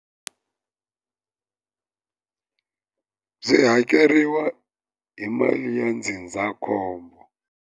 Byi byi hakeriwa hi mali ya ndzindzakhombo.